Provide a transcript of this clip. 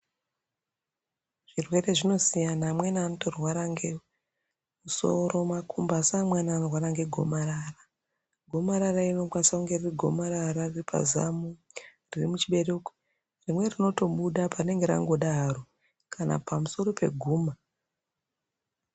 Zvirwere zvino siyana amweni anoto rwara nge musoro makumbo asi amweni ano rwara nge gomarara , gomarara iri rinokwanisa kunge riri gomarara repa zamo re muchibereko rimweni rinoto buda parinenge ratoda haro kana pamusoro pe guma.